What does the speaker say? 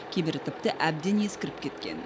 кейбірі тіпті әбден ескіріп кеткен